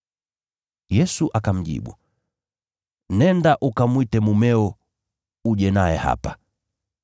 Yesu akamjibu, “Nenda ukamwite mumeo, uje naye hapa.”